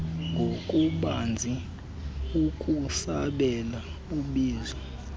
ngobubanzi ukusabela ubizo